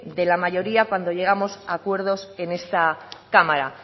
de la mayoría cuando llegamos a acuerdos en esta cámara